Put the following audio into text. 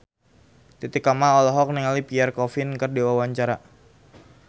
Titi Kamal olohok ningali Pierre Coffin keur diwawancara